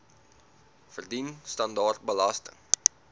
verdien standaard belasting